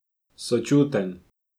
Sočuten.